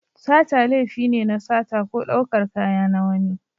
Sata laifi ne na sata ko ɗaukar kaya na wani.